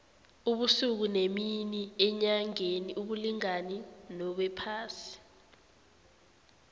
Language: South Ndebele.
ubusuku nemini enyangeni abulingani nobephasini